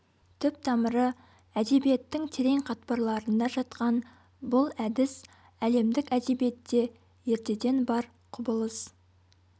түп-тамыры әдебиеттің терең қатпарларында жатқан бұл әдіс әлемдік әдебиетте ертеден бар құбылыс